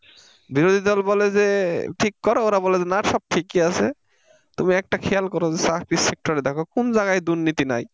বিরোধী দল বলে যে ঠিক করো ওরা বলে যে না সব ঠিক আছে তুমি একটা খেয়াল করো যে চাকরির sector এ দেখো কোন জায়গায় দুর্নীতি নাই।